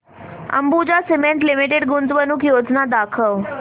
Ambuja cement limited गुंतवणूक योजना दाखव